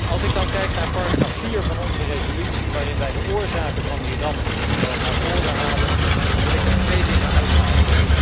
Als ik dan kijk naar paragraaf 4 van onze resolutie, waarin wij de oorzaken van die ramp naar voren halen, dan wil ik daar twee dingen uithalen.